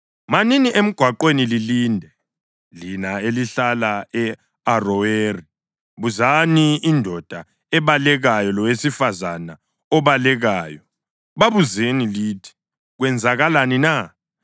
Manini emgwaqweni lilinde, lina elihlala e-Aroweri. Buzani indoda ebalekayo lowesifazane obalekayo; babuzeni lithi, ‘Kwenzakaleni na?’